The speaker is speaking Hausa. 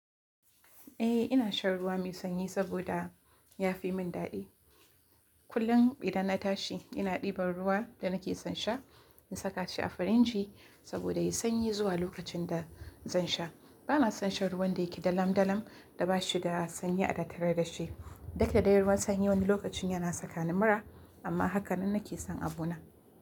Eh ina shan ruwa mai sanyi saboda ya fi min daɗi. Kullum idan na tashi ina ɗiban ruwa da nake son sha in saka shi a firinji saboda yayi sanyi zuwa lokacin da zan sha. Bana son shan ruwan da yake dalam-dalam da bashi da sanyi a tattare da shi. Dukda de ruwan sanyi wani lokacin yana saka ni mura amma hakanan nake son abu na.